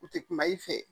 U tɛ kuma i fɛ